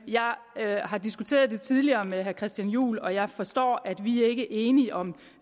har har diskuteret det tidligere med herre christian juhl og jeg forstår at vi ikke er enige om